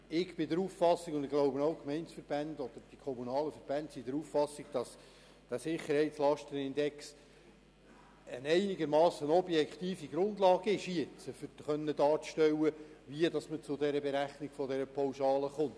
Ich bin der Auffassung – und ich glaube, die Gemeindeverbände teilen sie –, dass dieser Sicherheitslastenindex eine einigermassen objektive Grundlage bildet, um darstellen zu können, wie man zur Berechnung der Pauschale kommt.